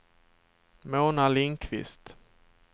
Mona Lindqvist